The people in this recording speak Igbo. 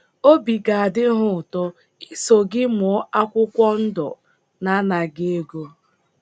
Obi ga - adị ha ụtọ iso gị mụọ akwụkwọ ndọ n’anaghị ego.